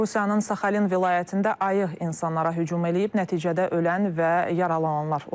Rusiyanın Saxalin vilayətində ayıq insanlara hücum edib, nəticədə ölən və yaralananlar olub.